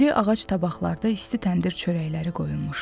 İri ağac tabaqlarda isti təndir çörəkləri qoyulmuşdu.